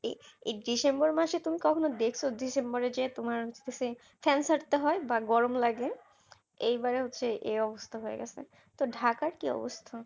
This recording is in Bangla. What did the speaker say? এই December মাসে তুমি কখনো দেখছো December এ যে তোমার হচ্ছে ফ্যান ছাড়তে হয় বা গরম লাগে এইবার হচ্ছে এই অবস্থা হয়ে গেছে তো ঢাকার কি অবস্থা